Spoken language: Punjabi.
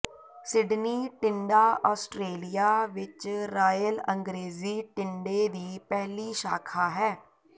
ਸਿਡਨੀ ਟਿੰਡਾ ਆਸਟ੍ਰੇਲੀਆ ਵਿੱਚ ਰਾਇਲ ਅੰਗਰੇਜ਼ੀ ਟਿੰਡੇ ਦੀ ਪਹਿਲੀ ਸ਼ਾਖਾ ਹੈ